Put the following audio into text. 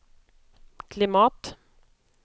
klimat